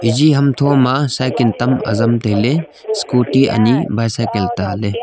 eji hamchu ma cycle tam aram taile scooty anyi bycycle ta le.